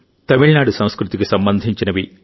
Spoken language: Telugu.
తమిళనాడు సంస్కృతికి సంబంధించినవి